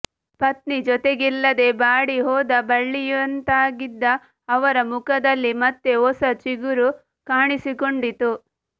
ಪತ್ನಿ ಜೊತೆಗಿಲ್ಲದೆ ಬಾಡಿ ಹೋದ ಬಳ್ಳಿಯಂತಾಗಿದ್ದ ಅವರ ಮುಖದಲ್ಲಿ ಮತ್ತೆ ಹೊಸ ಚಿಗುರು ಕಾಣಿಸಿಕೊಂಡಿತು